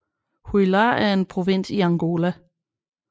Huila er en provins i Angola